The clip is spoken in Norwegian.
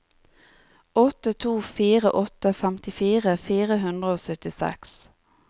åtte to fire åtte femtifire fire hundre og syttiseks